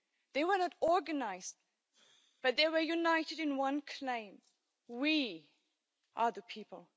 They were not organised, but they were united in one claim we are the people'.